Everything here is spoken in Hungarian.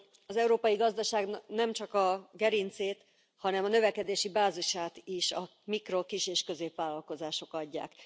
Az európai gazdaságnak nemcsak a gerincét, hanem a növekedési bázisát is a mikro kis és középvállalkozások adják.